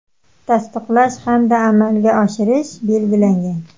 tasdiqlash hamda amalga oshirish belgilangan.